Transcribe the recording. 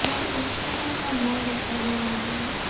एक छोटा सा मॉल दिखाई दे रहा है।